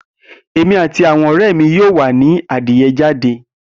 Emi ati awọn ọrẹ mi yoo wa ni adiye jade.